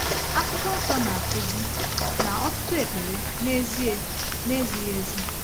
Akwụkwọ Nsọ na-akụzi na ọtụtụ ekpere, n’ezie, na-ezighi ezi.